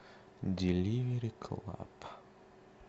деливери клаб